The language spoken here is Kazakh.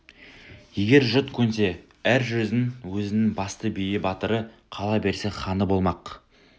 егер жұрт көнсе әр жүздің өзінің басты биі батыры қала берсе ханы болмақ